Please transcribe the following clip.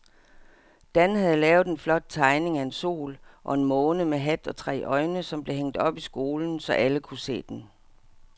Dan havde lavet en flot tegning af en sol og en måne med hat og tre øjne, som blev hængt op i skolen, så alle kunne se den.